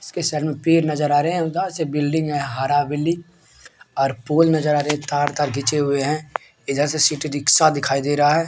इसके सामने से पेड़ नज़र आ रहे है डा से बिल्डिंग हैं हरा बिल्डिंग है और पूल नज़र आ रहा है तार-तार खींचे हुआ है इधर से सिटी रिक्शा दिखाई दे रहा है।